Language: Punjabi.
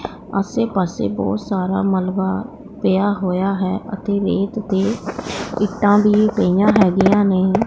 ਆਸੇ ਪਾਸੇ ਬਹੁਤ ਸਾਰਾ ਮਲਬਾ ਪਿਆ ਹੋਇਆ ਹੈ ਅਤੇ ਰੇਤ ਤੇ ਇੱਟਾਂ ਵੀ ਗਈਆਂ ਹੈਗੀਆਂ ਨੇ।